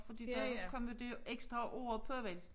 Fordi der jo ikke kommet det ekstra år på vel